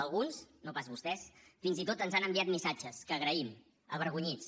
alguns no pas vostès fins i tot ens han enviat missatges que agraïm avergonyits